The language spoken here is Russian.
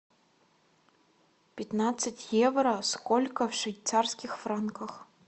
пятнадцать евро сколько в швейцарских франках